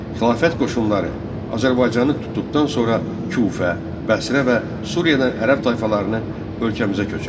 Xilafət qoşunları Azərbaycanı tutduqdan sonra Kufə, Bəsrə və Suriyadan ərəb tayfalarını ölkəmizə köçürdü.